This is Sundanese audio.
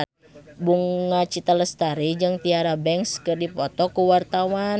Bunga Citra Lestari jeung Tyra Banks keur dipoto ku wartawan